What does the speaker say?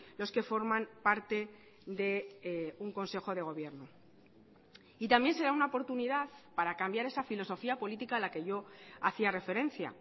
los que forman parte de un consejo de gobierno y también será una oportunidad para cambiar esa filosofía política a la que yo hacía referencia